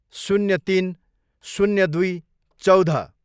शून्य तिन, शून्य दुई, चौध